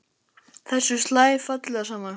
Þessu slær fallega saman.